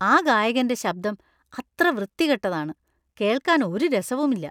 ആ ഗായകന്‍റെ ശബ്‌ദം അത്ര വൃത്തികെട്ടതാണ്. കേൾക്കാൻ ഒരു രസവുമില്ല .